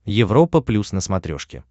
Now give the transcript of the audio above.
европа плюс на смотрешке